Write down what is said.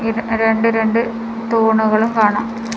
ഇത് രണ്ട് രണ്ട് തൂണുകളും കാണാം.